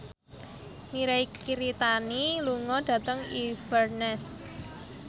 Mirei Kiritani lunga dhateng Inverness